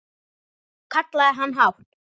kallaði hann hátt.